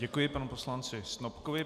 Děkuji panu poslanci Snopkovi.